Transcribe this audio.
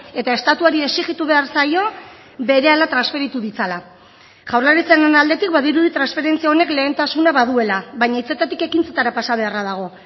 eta estatuari exijitu behar zaio berehala transferitu ditzala jaurlaritzaren aldetik badirudi transferentzia honek lehentasuna baduela baina hitzetatik ekintzetara pasa beharra dago